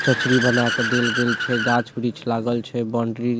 चचरी बना के देल गेल छै गाछ वृक्ष लागल छै बॉउंड्री --